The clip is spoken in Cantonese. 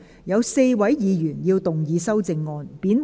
有4位議員要動議修正案。